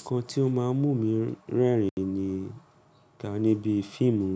Nǹkan tí ó máa ń mú mi rẹ́rìn-ín ni ìkàn níbi fíìmù